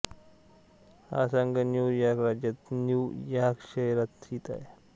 हा संघ New York राज्याच्या न्यू यॉर्क शहरात स्थित आहे